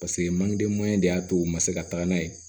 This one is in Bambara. Paseke manden de y'a to u ma se ka taga n'a ye